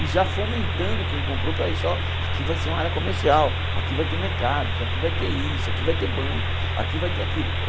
E já fomentando quem comprou para isso, ó, aqui vai ser uma área comercial, aqui vai ter mercados, aqui vai ter isso, aqui vai ter bancos, aqui vai ter aquilo.